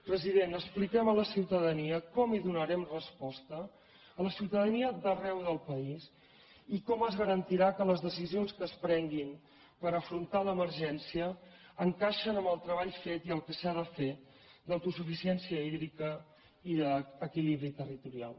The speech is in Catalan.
president expliquem a la ciutadania com hi donarem resposta a la ciutadania d’arreu del país i com es garantirà que les decisions que es prenguin per afrontar l’emergència encaixen amb el treball fet i el que s’ha de fer d’autosuficiència hídrica i d’equilibri territorial